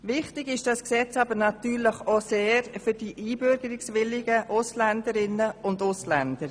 Sehr wichtig ist dieses Gesetz aber auch für die einbürgerungswilligen Ausländerinnen und Ausländer.